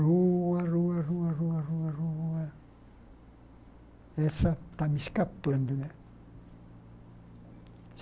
Rua, rua, rua, rua rua rua rua... Essa está me escapando, né?